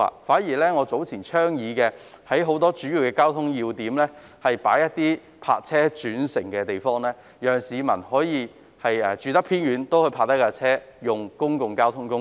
反之，我早前曾倡議在多個交通要點增設泊車轉乘設施，讓居於偏遠地區的市民可在停泊車輛後使用公共交通工具。